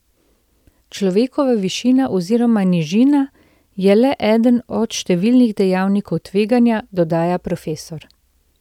Človekova višina oziroma nižina je le eden od številnih dejavnikov tveganja, dodaja profesor.